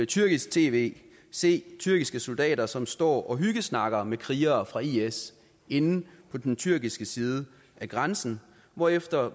tyrkisk tv se tyrkiske soldater som står og hyggesnakker med krigere fra is inde på den tyrkiske side af grænsen hvorefter